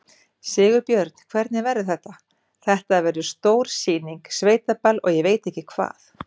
Sigurbjörn, hvernig verður þetta, þetta verður stór sýning, sveitaball og ég veit ekki hvað?